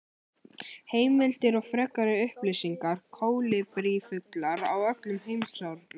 Heimildir og frekari upplýsingar: Kólibrífuglar frá öllum heimshornum.